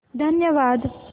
धन्यवाद